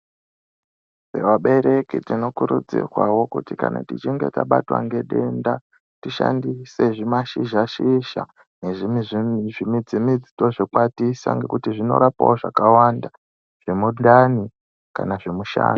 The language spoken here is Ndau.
Vabereki tinokurudzirwawo kuti kana tichinge tabatwa ngedenda tishandise zvimashizha shizha nezvimwezve zvimidzi midzi tozvikwatisa ngekuti zvinorapawo zvakawanda zvemundani kana zvemushana.